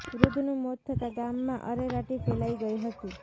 વૃધ્ધનું મોત થતા ગામમાં અરેરાટી ફેલાઈ ગઇ હતી